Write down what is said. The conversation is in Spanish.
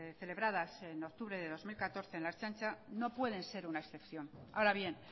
celebradas en octubre de dos mil catorce en la ertzaintza no pueden ser una excepción ahora bien